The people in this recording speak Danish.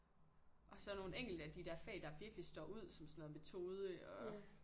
Og så nogle enkelte af de der fag der virkelig står ud som sådan noget metode og